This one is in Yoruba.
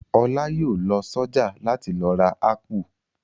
Ọlá yóò lọ sọ́jà láti lọ ra ápù.